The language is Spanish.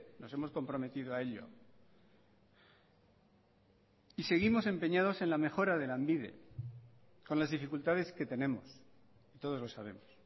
nos hemos comprometido a ello y seguimos empeñados en la mejora de lanbide con las dificultades que tenemos todos lo sabemos